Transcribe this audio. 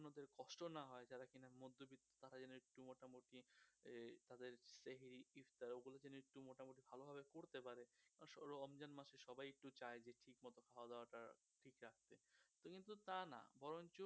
শুধু তানা বরঞ্চ